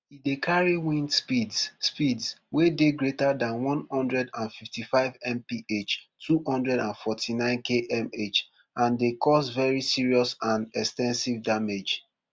e dey carry wind speeds speeds wey dey greater dan one hundred and fifty-fivemph two hundred and forty-ninekmh and dey cause very serious and ex ten sive damage